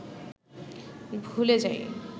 ভুলে যাই